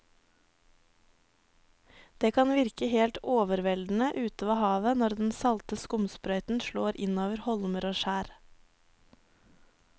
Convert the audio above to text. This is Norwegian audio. Det kan virke helt overveldende ute ved havet når den salte skumsprøyten slår innover holmer og skjær.